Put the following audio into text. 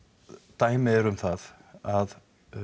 dæmi eru um það að